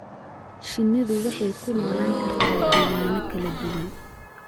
Shinnidu waxay ku noolaan kartaa deegaanno kala duwan.